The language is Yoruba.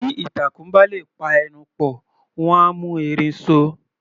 Bí ìtàkùn bá lè pa ẹnu pọ̀, wọ́n á mú erin so.